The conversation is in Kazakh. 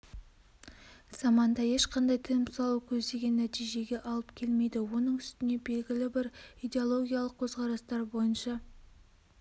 заманда ешқандай тыйым салу көздеген нәтижеге алып келмейді оның үстіне белгілі бір идеологиялық көзқарастар бойныша